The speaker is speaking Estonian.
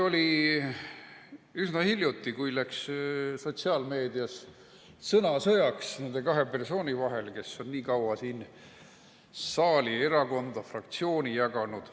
Alles üsna hiljuti läks sotsiaalmeedias sõnasõjaks nende kahe persooni vahel, kes on nii kaua siin saali, erakonda, fraktsiooni jaganud.